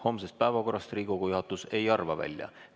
Homsest päevakorrast Riigikogu juhatus ei arva välja.